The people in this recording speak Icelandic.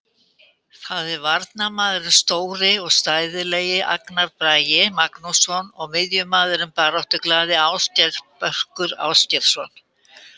Það eru varnarmaðurinn stóri og stæðilegi Agnar Bragi Magnússon og miðjumaðurinn baráttuglaði Ásgeir Börkur Ásgeirsson.